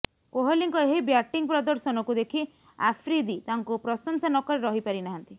କୋହଲିଙ୍କ ଏହି ବ୍ୟାଟିଂ ପ୍ରଦର୍ଶନକୁ ଦେଖି ଆଫ୍ରିଦି ତାଙ୍କୁ ପ୍ରଶଂସା ନକରି ରହିପାରି ନାହାନ୍ତି